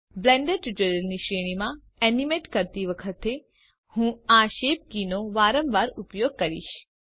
Blender ટ્યુટોરિયલ્સની શ્રેણીમાં animate કરતી વખતે હું આ શેપ કીઓ નો વારંવાર ઉપયોગ કરીશ